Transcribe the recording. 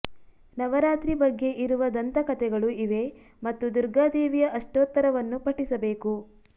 ನವರಾತ್ರಿ ಬಗ್ಗೆ ಇರುವ ದಂತಕಥೆಗಳು ಇವೆ ಮತ್ತು ದುರ್ಗಾ ದೇವಿಯ ಅಷ್ಟೋತ್ತರವನ್ನು ಪಠಿಸಬೇಕು